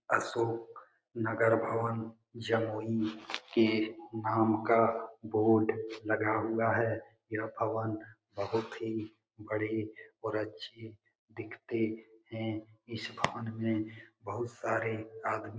अशोक नगर भवन जमोई के नाम का बोर्ड लगा हुआ है यह भवन बहुत ही बड़े और अच्छी दिखते है इस भवन मे बहुत सारे आदमी।